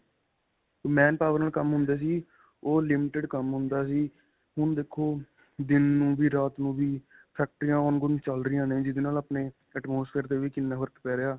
manpower ਨਾਲ ਕੰਮ ਹੁੰਦੇ ਸੀ. ਓਹ limited ਕੰਮ ਹੁੰਦਾ ਸੀ. ਹੁਣ ਦੇਖੋ ਦਿਨ ਨੂੰ ਵੀ ਰਾਤ ਨੂੰ ਵੀ ਫੈਕਟਰੀਆਂ ongoing ਚੱਲ ਰਹੀਆਂ ਨੇ ਜਿਸ ਦੇ ਨਾਲ ਆਪਣੇ atmosphere ਤੇ ਵੀ ਕਿੰਨਾ ਫ਼ਰਕ ਪੈ ਰਿਹਾ ਹੈ.